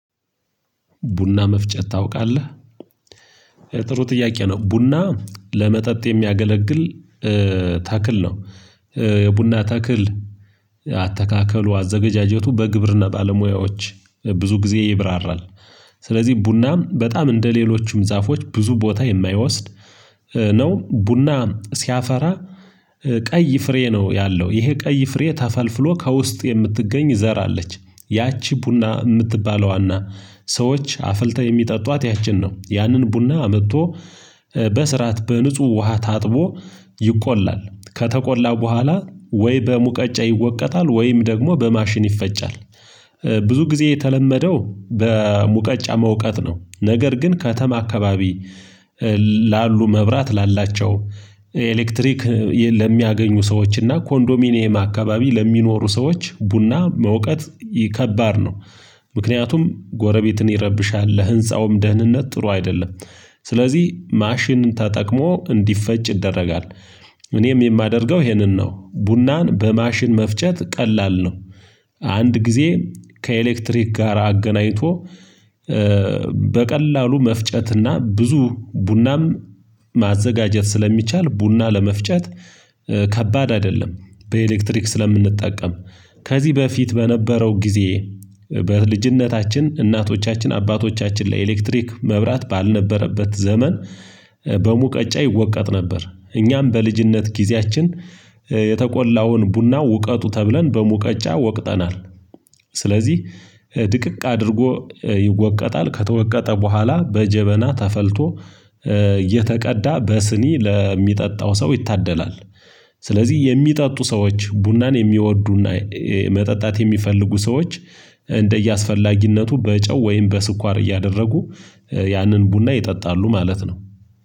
ቡና መፍጨት ታውቃለህ? ጥሩ ጥያቄ ነው። ቡና ለመጠጥ የሚያገለግል ተክል ነው። የቡና ተክል አተካከሉ፤ አዘገጃጀቱ በግብርና ባለሙያዎች ብዙ ጊዜ ይብራራል። ስለዚህ ቡናም በጣም እንደሌሎቹም ዛፎች ብዙ ቦታ የማይወስድ ነው። ቡና ሲያፈራ ቀይ ፍሬ ነው ያለው። ይሄ ቀይ ፍሬ ተፈልፍሎ ከውስጥ የምትገኝ ዘር አለች። ያቺ ቡና የምትባለዋና ሰዎች አፍልተው የሚጠጧት ያችን ነው። ያንን ቡና አምጥቶ በስርዓት በንጹህ ውሃ ታጥቦ ይቆላል። ከተቆላ በኋላ ወይ በሙቀጫ ይወቀጣል ወይም ደግሞ በማሽን ይፈጫል። ብዙ ጊዜ የተለመደው በሙቀጫ መውቀጥ ነው። ነገር ግን ከተማ አካባቢ ላሉ መብራት ላላቸው ኤሌክትሪክ ለሚያገኙ ሰዎች እና ኮንዶሚኒየም አካባቢ ለሚኖሩ ሰዎች ቡና መውቀጥ ከባድ ነው። ምክንያቱም ጎረቤትን ይረብሻል። ለህንፃውም ደህንነት ጥሩ አይደለም ስለዚህ ማሽን ተጠቅሞ እንዲፈጭ ይደረጋል። እኔም የማደርገው ይሄንን ነው። ቡናን በማሽን መፍጨት ቀላል ነው። አንድ ጊዜ ከኤሌክትሪክ ጋር አገናኝቶ በቀላሉ መፍጨትና ብዙ ቡናም ማዘጋጀት ስለሚቻል ቡና ለመፍጨት ከባድ አይደለም። በኤሌክትሪክ ስለምንጠቀም። ከዚህ በፊት በነበረው ጊዜ በልጅነታችን እናቶቻችን አባቶቻችን ለኤሌክትሪክ መብራት ባልነበረበት ዘመን በሙቀጫ ይወቀጥ ነበር። እኛም በልጅነት ጊዜያችን የተቆላውን ቡና ውቀጡ ተብለን በሙቀጫ ወቅጠናል። ስለዚህ ድቅቅ አድርጎ ይወቀጣል ከተወቀጠ በኋላ በጀበና ተፈልቶ እተቀዳ በስኒ ለሚጠጣው ሰው ይታደላል ስለዚህ የሚጠጡ ሰዎች ቡናን የሚወዱና መጠጣት የሚፈልጉ ሰዎች እንደየአስፈላጊነቱ በጨው ወይም በስኳር እያደረጉ ያንን ቡና ይጠጣሉ ማለት ነው።